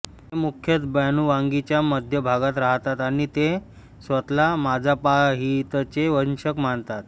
ते मुख्यतः बॅनुवांगीच्या मध्य भागात राहतात आणि ते स्वतः ला माजापाहितचे वंशज मानतात